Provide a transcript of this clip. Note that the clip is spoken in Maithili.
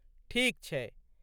ठीक छै।